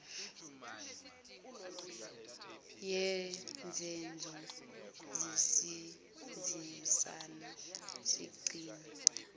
ngezenzo sisebenzisane sigcine